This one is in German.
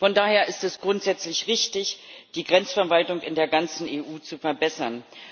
Von daher ist es grundsätzlich wichtig, die Grenzverwaltung in der ganzen EU zu verbessern.